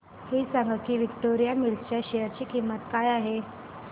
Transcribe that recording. हे सांगा की विक्टोरिया मिल्स च्या शेअर ची किंमत काय आहे